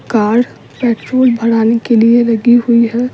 Car petrol भराने के लिए लगी हुई है।